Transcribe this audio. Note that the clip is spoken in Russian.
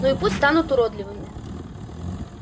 ну и пусть станут уродливыми